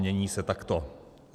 Mění se takto.